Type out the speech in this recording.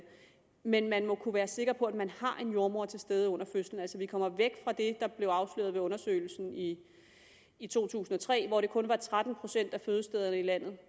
men man må kunne være sikker på at man har en jordemoder til stede under fødslen så vi kommer væk fra det der blev afsløret ved undersøgelsen i i to tusind og tre hvor det kun var på tretten procent af fødestederne i landet